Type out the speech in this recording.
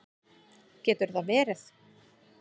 Getur það verið?